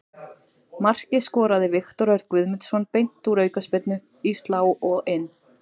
Markið skoraði Viktor Örn Guðmundsson beint úr aukaspyrnu, í slá og inn.